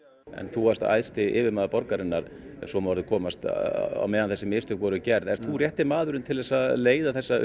þú varst æðsti yfirmaður borgarinnar ef svo má orði komast á meðan þessi mistök voru gerð ert þú rétti maðurinn til að leiða þessa